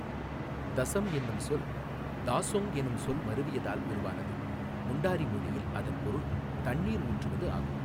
தசம் எனும் சொல் தாசொங் என்ற சொல் மருவியதால் உருவானது, முண்டாரி மொழியில் அதன் பொருள் தண்ணீர் ஊற்றுவது ஆகும்.